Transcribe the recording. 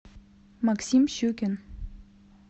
максим щукин